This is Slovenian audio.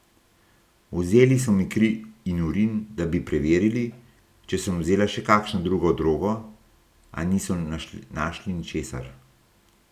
Vzeli so mi kri in urin, da bi preverili, če sem vzela še kakšno drugo drogo, a niso našli ničesar.